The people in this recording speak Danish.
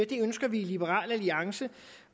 det ønsker vi i liberal alliance